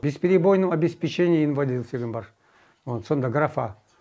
бесперебойное обеспечение инвалидов деген бар вот сондай графа